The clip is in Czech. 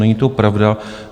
Není to pravda.